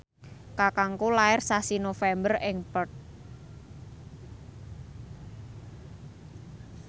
kakangku lair sasi November ing Perth